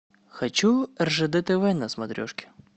хочу ржд тв на смотрешке